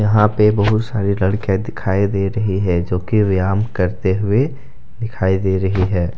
यहां पे बहुत सारी लड़कियां दिखाई दे रही है जोकि व्यायाम करते हुए दिखाई दे रही है।